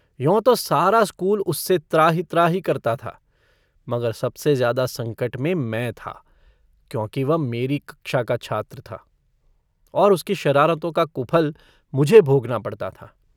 यों तो सारा स्कूल उससे त्राहि-त्राहि करता था, मगर सबसे ज़्यादा सकट मे मैं था, क्योंकि वह मेरी कक्षा का छात्र था और उसकी शरारतों का कुफल मुझे भोगना पड़ता था।